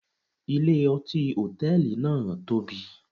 Ilé-ọtí hòtẹ́ẹ̀lì náà tóbi